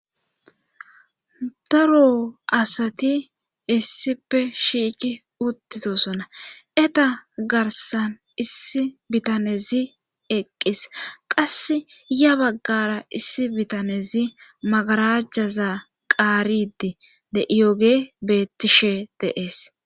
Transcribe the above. Daro asati issippe shiiki uttitosona eta garsan issi bitanezi eqqis qass ya baggara issi bitanezi magarajjaza qaaridi de7iyoge bettishe deees.